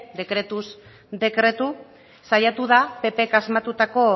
dekretuz dekretu saiatu da ppk asmatutako